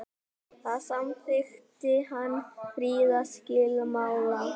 þar samþykkti hann friðarskilmála